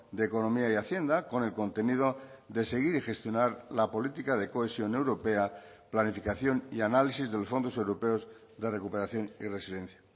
de economía y hacienda con el contenido de seguir y gestionar la política de cohesión europea planificación y análisis de los fondos europeos de recuperación y resilencia